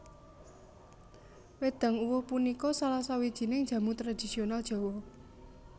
Wédang Uwuh punika salah sawijining jamu tradisional Jawa